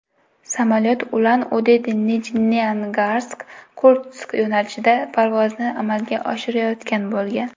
Samolyot UlanUdeNijneangarskIrkutsk yo‘nalishida parvozni amalga oshirayotgan bo‘lgan.